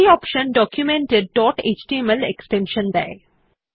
এই option document এর dot HTML extension দেয়